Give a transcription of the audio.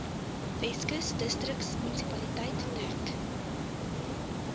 weskus distriksmunisipaliteit dek